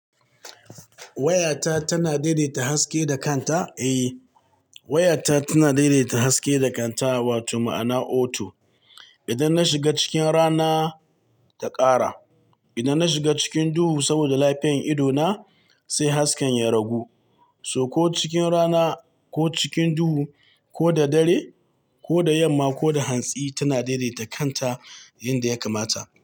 Wayata tana daidaita haske da kanta? Eh, wayata tana daidaita haske da kanta, wato ma'ana auto. Idan na shiga cikin rana, ta ƙara. Idan na shiga cikin duhu saboda lafiyan ido na, sai hasken ya ragu. So ko cikin rana ko cikin duhu ko da dare ko da yamma ko da hantsi, tana daidaita kanta inda ya kamata.